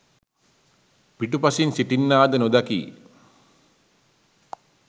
පිටුපසින් සිටින්නා ද නොදකියි.